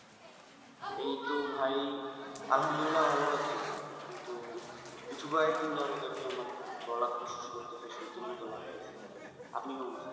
এই তো ভাই আল্লাহামদুল্লিয়া ভালো আছি কিন্তু আমার গলা খুস খুস করতেছে সর্দির মতো লাগতেছে আপনি কেমন আছেন?